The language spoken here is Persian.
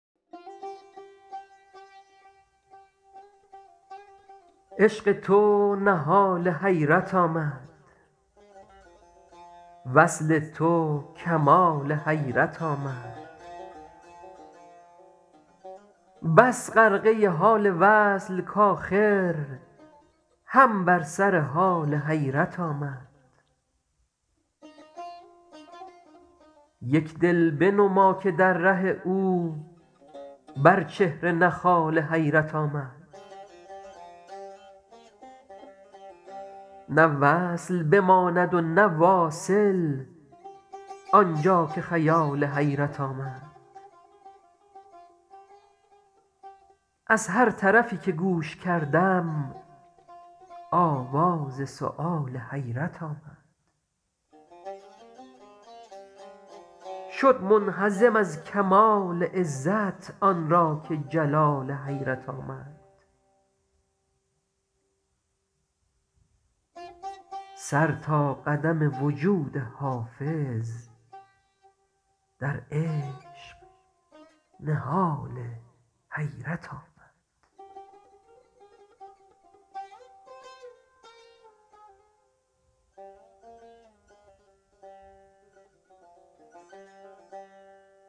عشق تو نهال حیرت آمد وصل تو کمال حیرت آمد بس غرقه حال وصل کآخر هم بر سر حال حیرت آمد یک دل بنما که در ره او بر چهره نه خال حیرت آمد نه وصل بماند و نه واصل آن جا که خیال حیرت آمد از هر طرفی که گوش کردم آواز سؤال حیرت آمد شد منهزم از کمال عزت آن را که جلال حیرت آمد سر تا قدم وجود حافظ در عشق نهال حیرت آمد